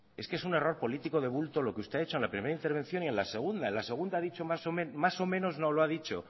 es que es un error político de bulto lo que usted ha hecho en la primera intervención y en la segunda en la segunda ha dicho más o menos más o menos no lo ha dicho